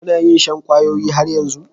Ka na yin shan kwayoyi har yanzu?